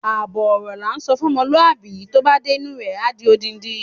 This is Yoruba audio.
Àbọ̀ ọ̀rọ̀ la ńsọ fún ọmọlúwàbí, tó bá dé inú u rẹ̀, á di odindi.